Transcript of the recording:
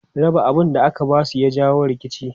Raba abun da aka ba su ya jawo rikici.